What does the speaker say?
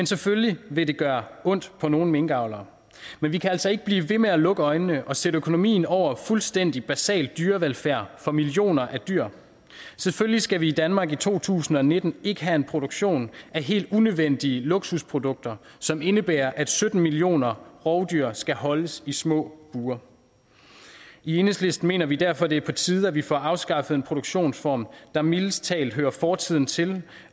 selvfølgelig vil det gøre ondt på nogle minkavlere men vi kan altså ikke blive ved med at lukke øjnene og sætte økonomien over fuldstændig basal dyrevelfærd for millioner af dyr selvfølgelig skal vi i danmark i to tusind og nitten ikke have en produktion af helt unødvendige luksusprodukter som indebærer at sytten millioner rovdyr skal holdes i små bure i enhedslisten mener vi derfor at det er på tide at vi får afskaffet en produktionsform der mildest talt hører fortiden til